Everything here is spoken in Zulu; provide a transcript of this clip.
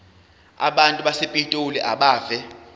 abantu basepitoli abeve